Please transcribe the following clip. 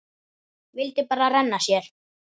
Vildi bara renna sér.